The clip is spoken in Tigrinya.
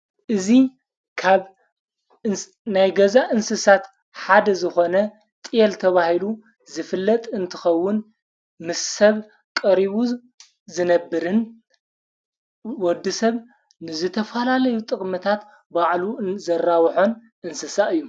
እዙ ካብ ናይ ገዛ እንስሳት ሓደ ዝኾነ ጢል ተብሂሉ ዝፍለጥ እንትኸውን ምስ ሰብ ቀሪቡዝ ዝነብርን ወዲ ሰብ ንዘ ተፋላለዩ ጥቕምታት ባዕሉ ዘራውሖን እንስሳ እዩ።